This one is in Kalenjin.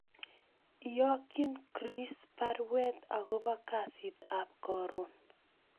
Iyokyin Chiirris baruet agobo kasit ab koron